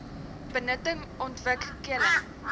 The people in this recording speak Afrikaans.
benutting ontwik keling